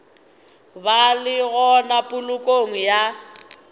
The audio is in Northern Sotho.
ba le gona polokong ya